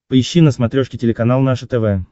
поищи на смотрешке телеканал наше тв